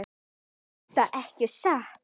Er þetta ekki satt?